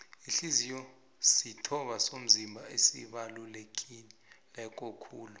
ihliziyo zisitho somzimba esibaluleke kulu